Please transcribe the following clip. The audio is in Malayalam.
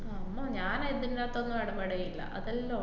അമ്മോ ഞാൻ അതിന്‍റാത്തൊന്നും ഇടപെടേല്ല. അതെല്ലാ ഓ~